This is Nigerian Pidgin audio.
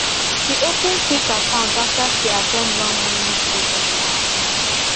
she open quick account after she at ten d one money program last month